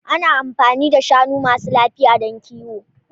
Ana amfani da shanu masu lafiya don kiwo.